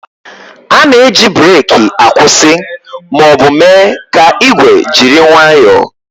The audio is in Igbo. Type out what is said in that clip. A na-eji breeki akwụsị ma ọ bụ mee ka igwe jiri nwayoo